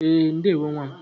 E, ndewo nwa m